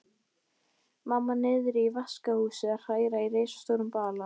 Og ég heyri sjálfa mig segja við stúlkuna